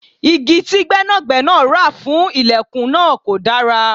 Igi tí gbẹ́nàgbẹ́nà ra fún ìlẹ̀kùn náà kò dára.